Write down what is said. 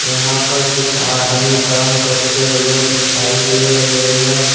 यहां पर कुछ आदमी काम करते हुए दिखाई दे रहे हैं।